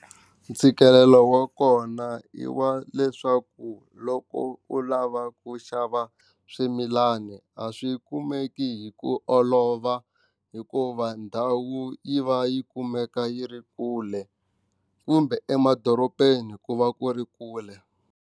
Ntshikelelo wa kona i wa leswaku loko u lava ku xava swimilani a swi kumeki hi ku olova hikuva ndhawu yi va yi kumeka yi ri kule kumbe emadorobeni ku va ku ri kule.